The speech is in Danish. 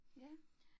Ja